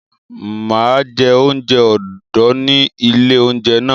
Mà á jẹ oúnjẹ odò ni ilé-oúnjẹ náà.